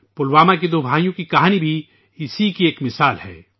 پلوامہ کے دو بھائیوں کی کہانی بھی اس کی ایک مثال ہے